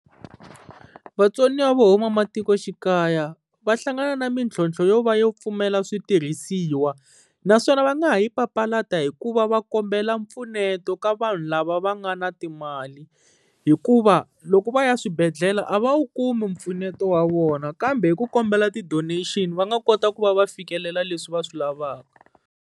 Vatsoniwa vo huma matikoxikaya, va hlangana na mintlhontlho yo va yo pfumala switirhisiwa. Naswona va nga ha yi papalata hikuva va kombela mpfuneto ka vanhu lava va nga na timali, hikuva loko va ya swibedhlele a va wu kumi mpfuneto wa vona kambe hi ku kombela ti-donation va nga kota ku va va fikelela leswi va swi lavaka.